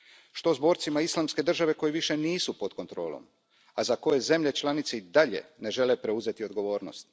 Što s borcima Islamske države koji više nisu pod kontrolom, a za koje zemlje članice i dalje ne žele preuzeti odgovornost?